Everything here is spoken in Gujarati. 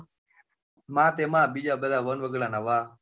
માં તે માં બીજા બધા વનવગડા નાં વા.